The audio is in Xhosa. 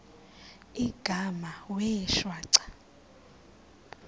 igama wee shwaca